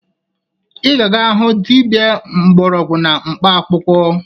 Ị ga-aga hụ dibia mgbọrọgwụ na mkpaakwụkwọ!